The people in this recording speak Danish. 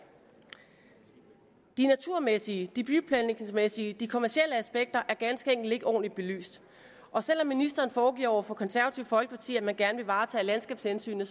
de naturmæssige de byplanlægningsmæssige de kommercielle aspekter er ganske enkelt ikke ordentligt belyst og selv om ministeren foregiver over for det konservative folkeparti at man gerne vil varetage landskabshensynet